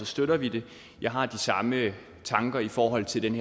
støtter vi det jeg har de samme tanker i forhold til den